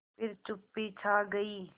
फिर चुप्पी छा गई